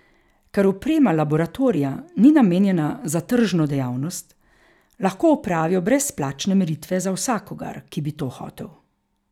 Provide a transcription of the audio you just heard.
Ker oprema laboratorija ni namenjena za tržno dejavnost, lahko opravijo brezplačne meritve za vsakogar, ki bi to hotel.